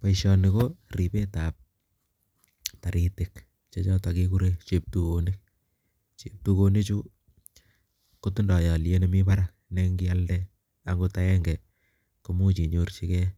Boisioni ko ripetab taritik che choto kekure cheptukonik , cheptukonichu kotindoi alyet ne mi barak ne ngialde agot akenge komuch inyorchigei